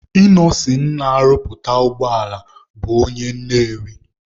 Ịnọsin na-arụpụta ụgbọala bụ onye Nnewi.